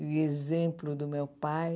E exemplo do meu pai,